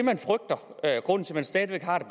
man stadig væk har det